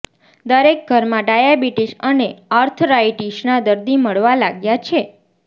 દરેક ઘરમાં ડાયાબીટીસ અને આર્થરાઈટીસ ના દર્દી મળવા લાગ્યા છે